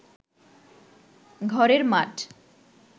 ঘরের মাঠ